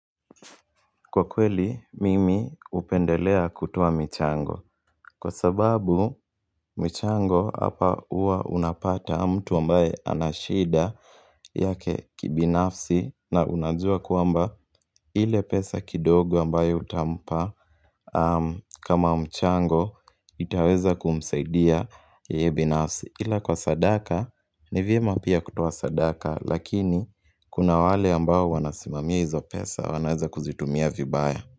Kwa kweli, mimi upendelea kutoa michango Kwa sababu, michango hapa huwa unapata mtu ambaye ana shida yake kibinafsi na unajua kuamba ile pesa kidogo ambaye utampa kama mchango itaweza kumseidia yae binafsi Ila kwa sadaka, ni vyema pia kutoa sadaka lakini kuna wale ambao wanasimamia hizo pesa wanaweza kuzitumia vibaya.